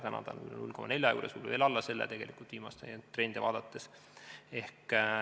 Täna on ta 0,4 juures või veel alla selle, kui viimaseid trende vaadata.